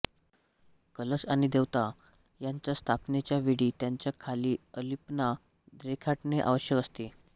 कलश आणि देवता यांच्या स्थापनेच्या वेळी त्यांच्या खाली अलिपना रेखाटणे आवश्यक असते